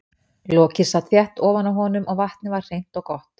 Lokið sat þétt ofan á honum og vatnið var hreint og gott.